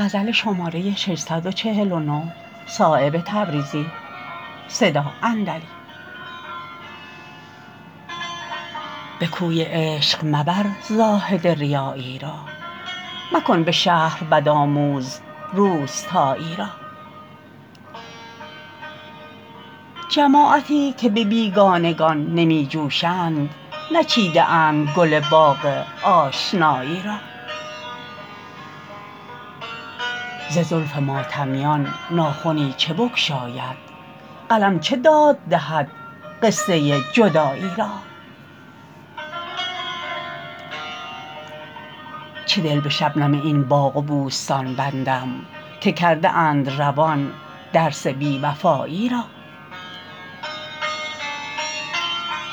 به کوی عشق مبر زاهد ریایی را مکن به شهر بدآموز روستایی را جماعتی که به بیگانگان نمی جوشند نچیده اند گل باغ آشنایی را ز زلف ماتمیان ناخنی چه بگشاید قلم چه داد دهد قصه جدایی را چه دل به شبنم این باغ و بوستان بندم که کرده اند روان درس بی وفایی را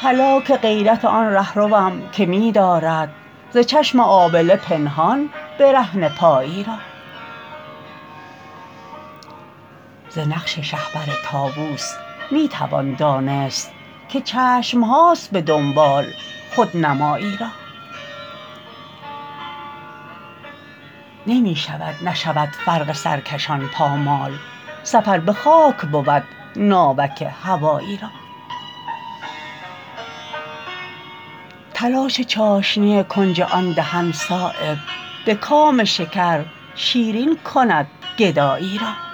هلاک غیرت آن رهروم که می دارد ز چشم آبله پنهان برهنه پایی را ز نقش شهپر طاوس می توان دانست که چشمهاست به دنبال خودنمایی را نمی شود نشود فرق سرکشان پامال سفر به خاک بود ناوک هوایی را تلاش چاشنی کنج آن دهن صایب به کام شکر شیرین کند گدایی را